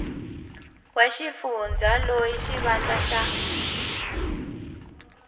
wa xifundza loyi xivandla xa